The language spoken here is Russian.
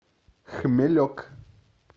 хмелек